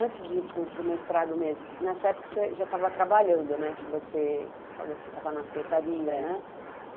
Antes de ir para para o mestrado mesmo, nessa época você já estava trabalhando, né, que você falou que estava na secretaria, né. É.